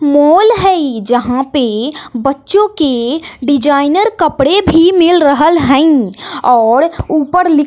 मोल हई जहाँ पे बच्चों के डिज़ाइनर कपड़े भी मिल रहल हई और ऊपर ली --